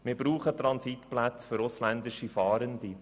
Wir brauchen Transitplätze für ausländische Fahrende.